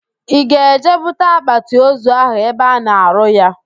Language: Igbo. Ị ga-eje bute akpatịozu ahụ ebe a na-arụ ya?